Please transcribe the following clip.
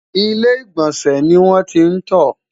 ilé igbọnsẹ ní wọn tí n tó